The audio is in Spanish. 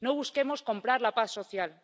No busquemos comprar la paz social.